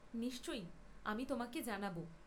নিশ্চয়, আমি তোমাকে জানাব।